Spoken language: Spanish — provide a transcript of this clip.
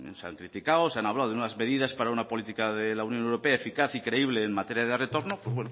se han criticado se han hablado de unas medidas para una política de la unión europea eficaz y creíble en materia de retorno pues